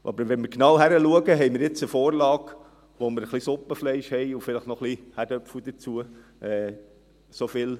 Aber wenn wir genau hinschauen, haben wir nun eine Vorlage, wo wir ein wenig Suppenfleisch und vielleicht noch ein paar Kartoffeln dazu haben.